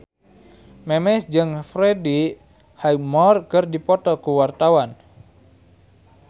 Memes jeung Freddie Highmore keur dipoto ku wartawan